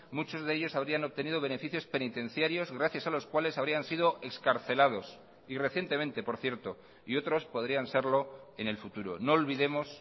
muchos de ellos habrían obtenido beneficios penitenciarios gracias a los cuales habrían sido excarcelados y recientemente por cierto y otros podrían serlo en el futuro no olvidemos